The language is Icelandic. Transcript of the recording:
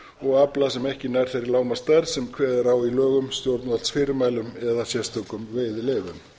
og afla sem ekki nær þeirri lágmarksstærð sem kveðið er á í lögum stjórnvaldsfyrirmælum eða sérstökum veiðileyfum